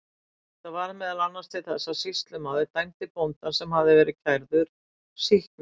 Þetta varð meðal annars til þess að sýslumaður dæmdi bóndann, sem hafði verið kærður, sýknan.